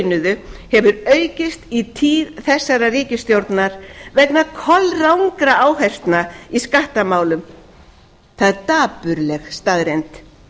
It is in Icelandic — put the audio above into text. launuðu hefur aukist í tíð þessarar ríkisstjórnar vegna kolrangra áherslna í skattamálum það er dapurleg staðreynd